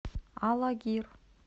алагир